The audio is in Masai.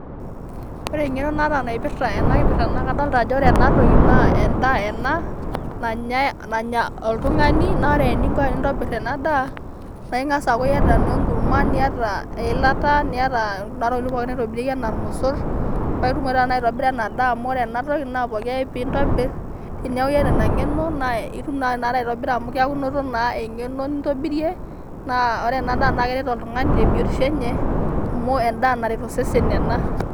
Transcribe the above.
Ore eng'eno naata naipirta ena kipirta naa kadolita ena toki naa endaa ena nanya oltung'ani naa ore ening'o tenintobirr ena daa naa Ing'as aaku eyataa naa enkurma niyata eilata, niyata kuda tokitin naitobiriki pooki enaa irmosorr, paitumoki taata aitobira ena daa amu ore ena toki naa pooki ake pee intobirr teneaku eyata Ina ng'eno naa itum naa tenakata aitobira amu keeku inoto naa eng'eno nintobirie naa ore ena ndaa naa keret oltung'ani tebiotisho enye amu endaa naret osesen ena.